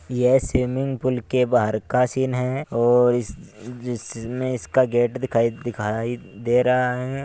यह swimming pool के बाहर का सीन है और इस जिस मे इसका गेट दिखाई दिखाई दे रहा है।